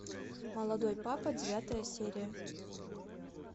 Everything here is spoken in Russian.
молодой папа девятая серия